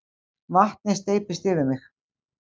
Vatnið steypist yfir mig.